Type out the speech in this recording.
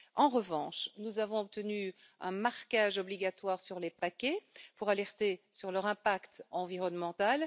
En revanche, nous avons obtenu un marquage obligatoire sur les paquets pour alerter sur leur impact environnemental.